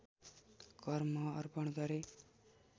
कर्म अर्पण गरे